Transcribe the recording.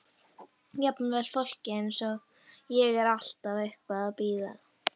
Jafnvel fólk eins og ég er alltaf eitthvað að bíða.